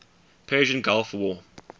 persian gulf war